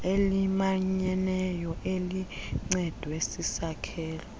elimanyeneyo elincedwe sisakhelo